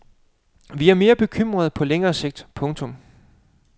Vi er mere bekymrede på længere sigt. punktum